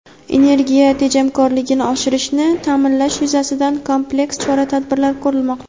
energiya tejamkorligini oshirishni ta’minlash yuzasidan kompleks chora-tadbirlar ko‘rilmoqda.